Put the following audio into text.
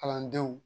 Kalandenw